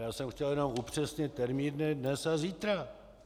Já jsem chtěl jenom upřesnit termíny dnes a zítra.